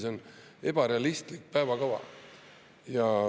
See on ebarealistlik päevakava.